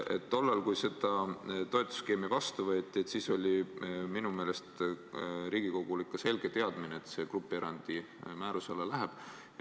Tollal, kui see toetusskeem vastu võeti, oli minu meelest Riigikogul ikka selge teadmine, et see läheb grupierandi määruse alla.